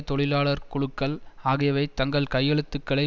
தொழிலாளர் குழுக்கள் ஆகியவை தங்கள் கையெழுத்துக்களை